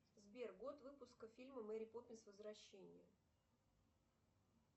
сбер год выпуска фильма мэри поппинс возвращение